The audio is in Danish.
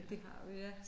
Det har vi ja